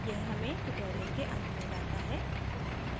यह हमें tutorial के अंत में लाता है